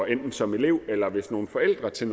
enten som elev eller som forældre til